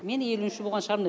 мен елуінші болған шығармын